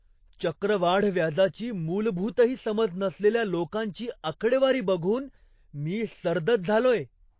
चक्रवाढ व्याजाची मूलभूतही समज नसलेल्या लोकांची आकडेवारी बघून मी सर्दच झालोय.